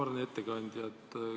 Auväärne ettekandja!